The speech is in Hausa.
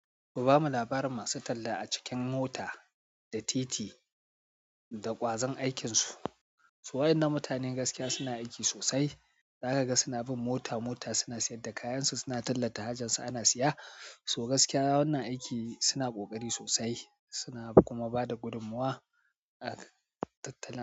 Ku bamu labarai masu talla a cikin mota da titi da ƙwazon aikinsu. Waɗannan mutanen gaskiya suna aiki sosai. Za ka ga suna bin mota mota, suna sayar da kayansu, suna tallata hajar su ana siya. So gaskiya waɗannan aiki suna ƙoƙari sosai suna kuma ba da gudummuwa a tattala.